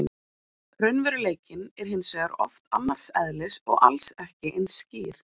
Raunveruleikinn er hins vegar oft annars eðlis og alls ekki eins skýr.